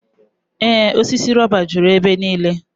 Ee osisi rọba juru ebe niile.